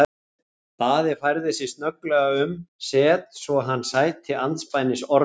Daði færði sig snögglega um set svo hann sæti andspænis Ormi.